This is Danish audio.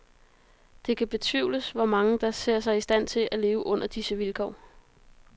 Det kan betvivles, hvor mange der ser sig i stand til at leve under disse vilkår.